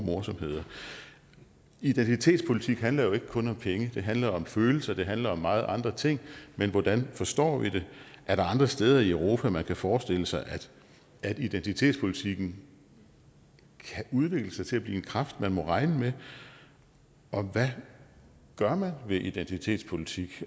morsomheder identitetspolitik handler jo ikke kun om penge det handler om følelser og det handler om mange andre ting men hvordan forstår vi det er der andre steder i europa man kan forestille sig at identitetspolitikken kan udvikle sig til at blive en kraft man må regne med og hvad gør man ved identitetspolitik